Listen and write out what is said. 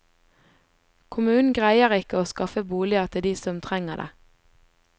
Kommunen greier ikke å skaffe boliger til de som trenger det.